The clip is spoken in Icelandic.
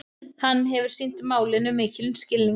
Hann hefur sýnt málinu mikinn skilning